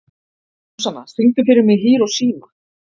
Súsanna, syngdu fyrir mig „Hiroshima“.